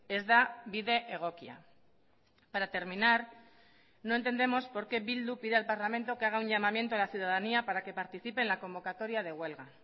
ez da bide egokia para terminar no entendemos por qué bildu pide al parlamento que haga un llamamiento a la ciudadanía para que participe en la convocatoria de huelga